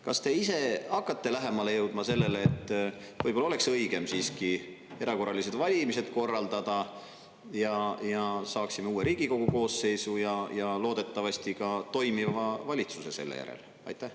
Kas te ise hakkate lähemale jõudma sellele, et võib-olla oleks õigem siiski erakorralised valimised korraldada ja saaksime uue Riigikogu koosseisu ja loodetavasti ka toimiva valitsuse selle järel?